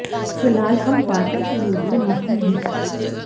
फिलहाल हम वार्ता के मूड में नहीं हैं